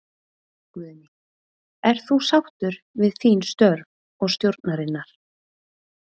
Guðný: Ert þú sáttur við þín störf og stjórnarinnar?